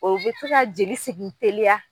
o be se ka jeli sigin teliya